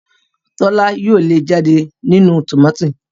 Tola yóò se lẹẹ jáde nínú tomati